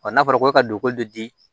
n'a fɔra ko ka don ko de di